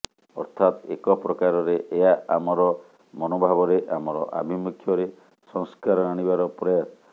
ଅର୍ଥାତ ଏକପ୍ରକାରରେ ଏହା ଆମର ମନୋଭାବରେ ଆମର ଆଭିମୁଖ୍ୟରେ ସଂସ୍କାର ଆଣିବାର ପ୍ରୟାସ